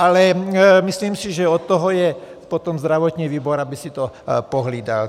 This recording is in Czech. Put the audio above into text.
Ale myslím si, že od toho je potom zdravotní výbor, aby si to pohlídal.